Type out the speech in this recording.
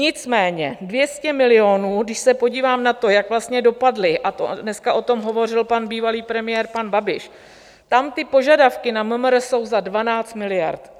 Nicméně 200 milionů, když se podívám na to, jak vlastně dopadly, a dneska o tom hovořil pan bývalý premiér, pan Babiš, tam ty požadavky na MMR jsou za 12 miliard.